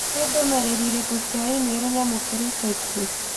Nĩ ndũmĩrĩri irĩkũ cia i-mīrū nyamũkĩire ica ikuhĩ?